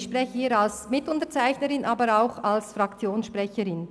Ich spreche hier als Mitunterzeichnerin und zugleich als Fraktionssprecherin.